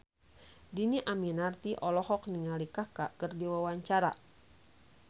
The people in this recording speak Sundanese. Dhini Aminarti olohok ningali Kaka keur diwawancara